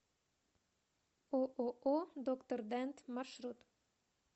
ооо доктор дент маршрут